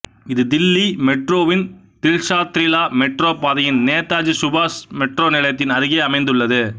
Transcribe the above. இது தில்லி மெட்ரோவின் தில்ஷாத்ரித்தலா மெட்ரோ பாதையின் நேதாஜி சுபாஷ் மெட்ரோ நிலையத்தின் அருகே அமைந்துள்ளது